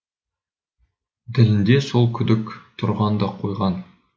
ділінде сол күдік тұрған да қойған